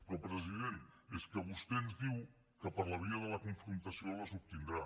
però president és que vostè ens diu que per la via de la confrontació les obtindrà